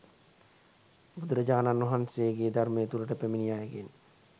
බුදුරජාණන් වහන්සේගේ ධර්මය තුළට පැමිණි අයගෙන්